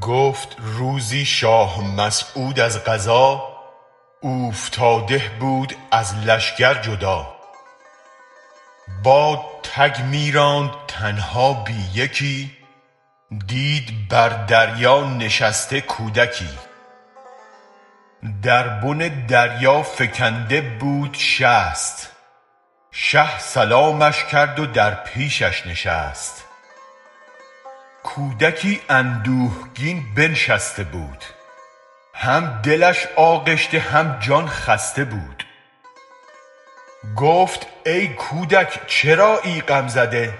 گفت روزی شاه مسعود از قضا اوفتاده بود از لشگر جدا باد تگ می راند تنها بی یکی دید بر دریا نشسته کودکی در بن دریا فکنده بود شست شه سلامش کرد و در پیشش نشست کودکی اندوهگین بنشسته بود هم دلش آغشته هم جان خسته بود گفت ای کودک چرایی غم زده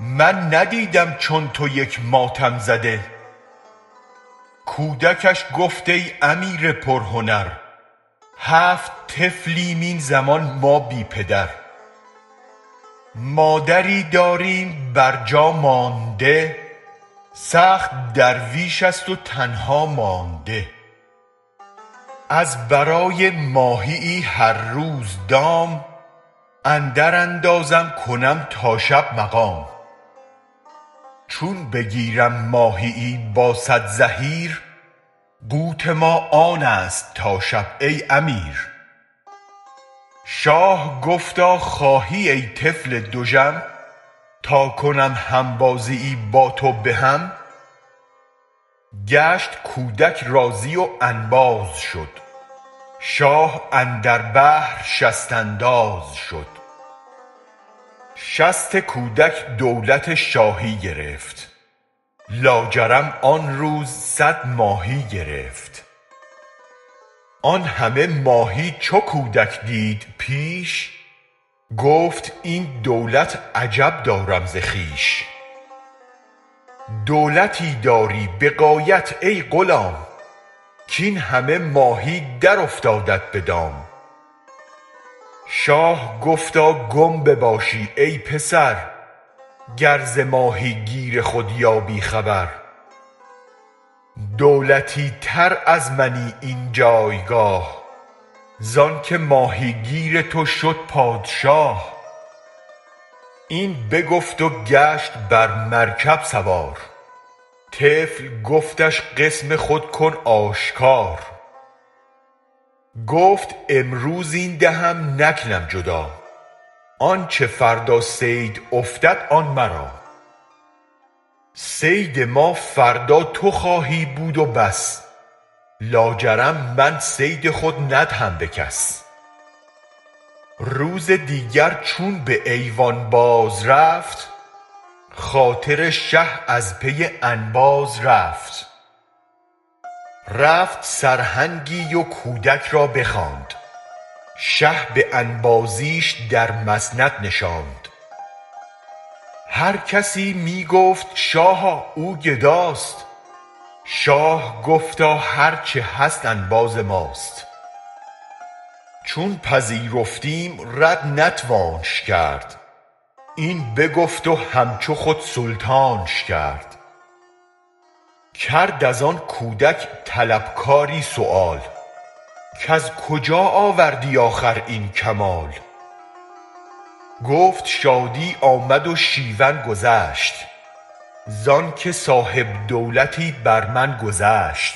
من ندیدم چون تو یک ماتم زده کودکش گفت ای امیر پر هنر هفت طفلیم این زمان ما بی پدر مادری داریم بر جا مانده سخت درویش است و تنها مانده از برای ماهیی هر روز دام اندر اندازم کنم تا شب مقام چون بگیرم ماهیی با صد زحیر قوت ما آنست تا شب ای امیر شاه گفتا خواهی ای طفل دژم تا کنم همبازیی با تو به هم گشت کودک راضی و انباز شد شاه اندر بحر شست انداز شد شست کودک دولت شاهی گرفت لاجرم آن روز صد ماهی گرفت آن همه ماهی چو کودک دید پیش گفت این دولت عجب دارم ز خویش دولتی داری به غایت ای غلام کاین همه ماهی درافتادت به دام شاه گفتا گم بباشی ای پسر گر ز ماهی گیر خود یابی خبر دولتی تر از منی این جایگاه زانکه ماهیگیر تو شد پادشاه این بگفت و گشت بر مرکب سوار طفل گفتش قسم خود کن آشکار گفت امروز این دهم نکنم جدا آنچ فردا صید افتد آن مرا صید ما فردا تو خواهی بود بس لاجرم من صید خود ندهم به کس روز دیگر چون به ایوان بازرفت خاطر شه از پی انباز رفت رفت سرهنگی و کودک را بخواند شه به انبازیش در مسند نشاند هرکسی می گفت شاها او گداست شاه گفتا هرچ هست انباز ماست چون پذیرفتیم رد نتوانش کرد این بگفت و همچو خود سلطانش کرد کرد از آن کودک طلبکاری سؤال کز کجا آوردی آخر این کمال گفت شادی آمد و شیون گذشت زانکه صاحب دولتی بر من گذشت